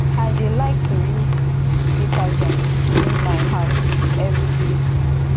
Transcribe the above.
i dey like to use detergent clean my house everyday